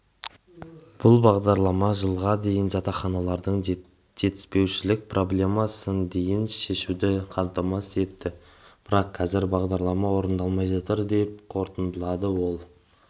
бұл бағдарлама жылға дейін жатақханалардың жетіспеушілік проблемасын дейін шешуді қамтамасыз етті бірақ қазір бағдарлама орындалмай жатыр деп қорытындылады ол